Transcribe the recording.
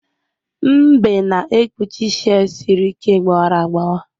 Mbe na-ekpuchi shei siri ike gbawara agbawa